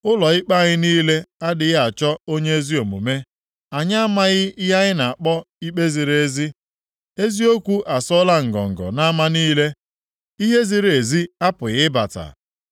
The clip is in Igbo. Ụlọ ikpe anyị niile adịghị achọ onye ezi omume; anyị amaghị ihe a na-akpọ ikpe ziri ezi. Eziokwu asọọla ngọngọ nʼama niile, ihe ziri ezi apụghị ịbata.